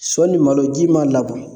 Sɔ ni malo ji m'a labɔ